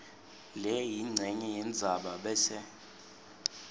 leyincenye yendzaba bese